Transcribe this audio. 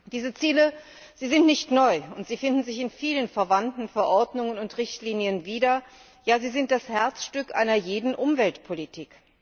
Diese Ziele sind nicht neu und finden sich in vielen verwandten Verordnungen und Richtlinien wieder, ja, sie sind das Herzstück einer jeden Umweltpolitik.